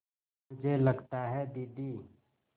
मुझे लगता है दीदी